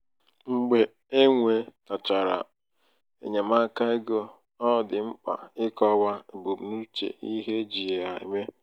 mgbe e nwetachara enyemaaka ego ọ dị mkpa ịkọwa ebumnuche ihe eji ya eme..